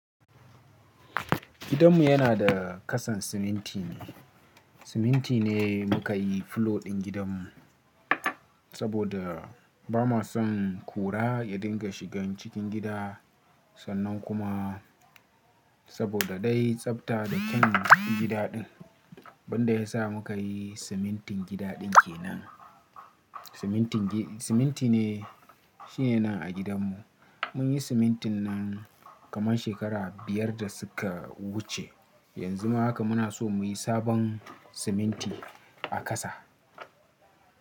Gidanmu yana da kasan siminti ne. Siminti ne muka yi fulo ɗin gidanmu saboda ba ma son kura ya dinga shigan cikin gida sannan kuma saboda dai tsafta da kyaun gida ɗin. Wanda yasa muka yi simintin gida ɗin kenan. Siminti ne shine nan a gidanmu. Mun yi simintin nan kamar shekara biyar da suka wuce. Yanzu ma haka muna so muyi sabon siminti a kasa.